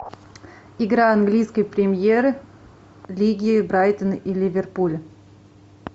игра английской премьер лиги брайтон и ливерпуль